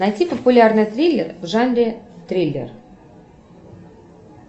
найти популярный триллер в жанре триллер